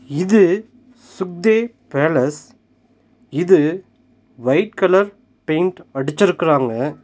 இது சுக்தே பேலஸ் இது ஒயிட் கலர் பெயிண்ட் அடுச்சுருக்கறாங்க.